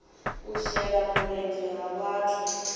u shela mulenzhe ha vhathu